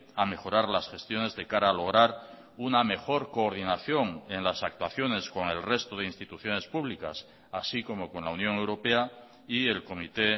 a mejorar las gestiones de cara a lograr una mejor coordinación en las actuaciones con el resto de instituciones públicas así como con la unión europea y el comité